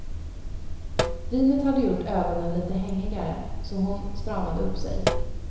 Vinet hade gjort ögonen lite hängigare, så hon stramade upp sig.